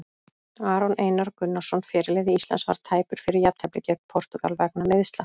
Aron Einar Gunnarsson, fyrirliði Íslands, var tæpur fyrir jafnteflið gegn Portúgal vegna meiðsla.